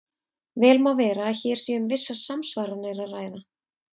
Vel má vera að hér sé um vissar samsvaranir að ræða.